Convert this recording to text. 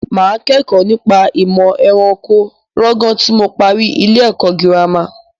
Mà á kẹ́kọ̀ọ́ nípa ìmọ̀ ẹranko lọ́gán tí mo parí ilé-ẹ̀kọ́ girama.